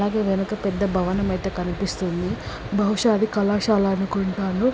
దీని వెనక పెద్ద భవనం అయితే కనిపిస్తుంది బహుశా అది కళాశాల అనుకుంటాను.